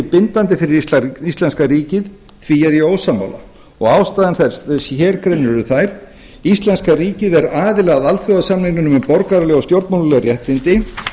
bindandi fyrir íslenska ríkið því er ég ósammála af ástæðum þeim sem hér greinir eru þær íslenska ríkið er aðili að alþjóðasamningnum um borgaraleg og stjórnmálaleg réttindi